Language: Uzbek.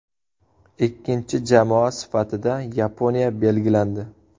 Ikkinchi jamoa sifatida Yaponiya belgilandi.